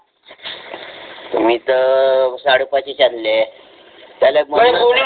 मि त साडे पाचच आणले आहे, त्याले म्हण न